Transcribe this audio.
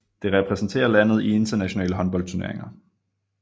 Det repræsenterer landet i internationale håndboldturneringer